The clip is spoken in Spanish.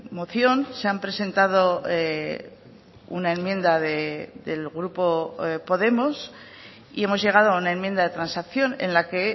moción se han presentado una enmienda del grupo podemos y hemos llegado a una enmienda de transacción en la que